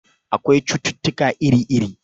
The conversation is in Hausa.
Akwai cututtuka iri-iri.